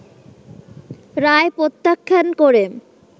রায় প্রত্যাখ্যান করে